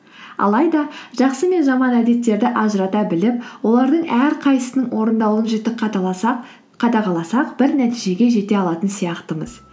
алайда жақсы мен жаман әдеттерді ажырата біліп олардың әрқайсысының орындалуын жіті қадағаласақ бір нәтижеге жете алатын сияқтымыз